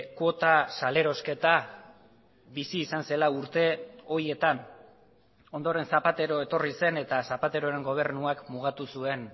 kuota salerosketa bizi izan zela urte horietan ondoren zapatero etorri zen eta zapateroren gobernuak mugatu zuen